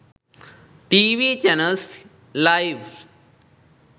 tv channels live